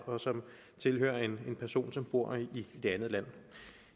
og som tilhører en person som bor i det andet land